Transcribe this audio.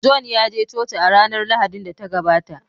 john yaje coci a ranar Lahadin da ta gabata